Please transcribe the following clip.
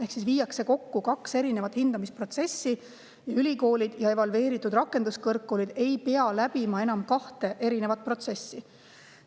Ehk siis viiakse kokku kaks erinevat hindamisprotsessi ning ülikoolid ja evalveeritud rakenduskõrgkoolid ei pea läbima enam kahte protsessi.